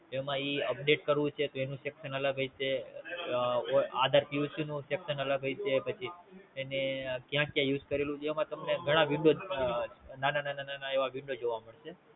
એમે ઈ Update કરવું છે તો એનું Section અલગ હશે આધાર QC નું Section અલગ હશે પછી એને ક્યાં ક્યાં Use કરેલું છે એમાં તમને ઘણા Window ના ના એવા Window જોવા મળશે